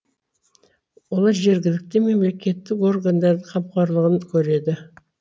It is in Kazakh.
олар жергілікті мемлекеттік органдардың қамқорлығын көреді